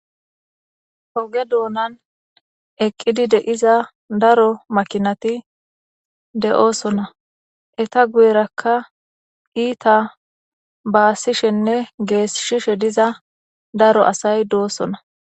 Hoge doonan eqqidi deiza daro makinati de'oosona eta guyerakka iita baasishenne geesshishe diza daro asay doosona.